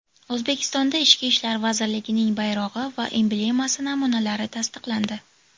O‘zbekistonda Ichki ishlar vazirligining bayrog‘i va emblemasi namunalari tasdiqlandi.